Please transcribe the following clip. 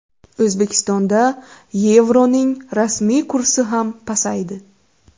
O‘zbekistonda yevroning rasmiy kursi ham pasaydi.